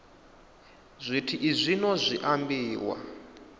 zwithu izwi zwino zwi ambiwa